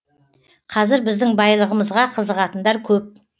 қазір біздің байлығымызға қызығатындар көп